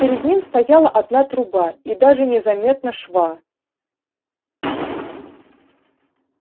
перед ним стояла одна труба и даже не заметно шва